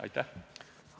Aitäh!